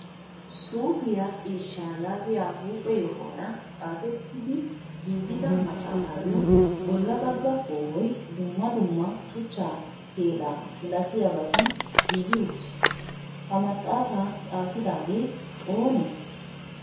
suuppiya ciishsha yaagiya huphphe yohuwara xaafettidi giigida maxaafayyo bolla bagga koohoy dumma dumma shuchcha keela malatiyaabaatun giigi uttiis. ha maxafaa xaafidaagee oonee?